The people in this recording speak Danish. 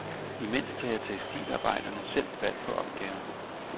Imens tager tekstilarbejderne selv fat på opgaven.